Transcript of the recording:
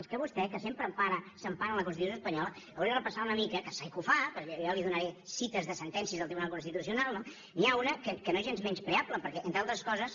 és que vostè que sempre s’empara en la constitució espanyola hauria de repassar una mica que sé que ho fa però jo li donaré cites de sentències del tribunal constitucional no n’hi ha una que no és gens menyspreable perquè entre altres coses